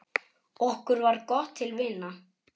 Okkur varð gott til vina.